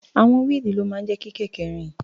Àwọn wíìlì ló máa ń jẹ́ kí kẹ̀kẹ́ rìn.